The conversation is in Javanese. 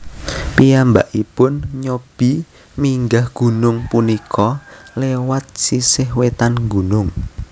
Piyambakipun nyobi minggah gunung punika lewat sisih wetan gunung